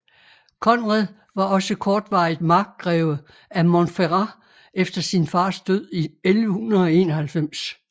Konrad var også kortvarigt markgreve af Montferrat efter sin fars død i 1191